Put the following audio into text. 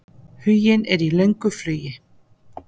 Huginn er í löngu flugi.